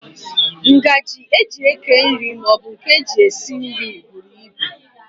Ngaji e ji eke nri maọbụ nke e ji esi nri buru ibu